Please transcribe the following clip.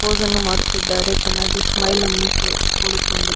ಪೋಸನ್ನು ಮಾಡುತ್ತಿದ್ದಾರೆ ಚೆನ್ನಾಗಿ ಸ್ಮೈಲನ್ನು ಕೊಡುಕೊಂಡು.